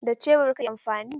Da Shebur kake amfani?